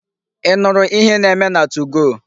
Ị nụrụ ihe na-eme na 2go?